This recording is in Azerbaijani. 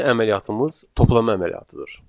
Birinci əməliyyatımız toplama əməliyyatıdır.